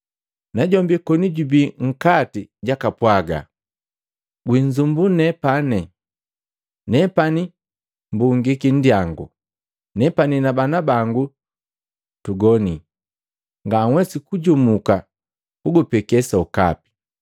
Najombi koni jubi nkati jakapwaga, ‘Gwinzumbua nepani! Nepani mbungiki nndiyangu, nepani na bana bangu tugoni. Nganhwesi kujumuka kukupeke sokapi.’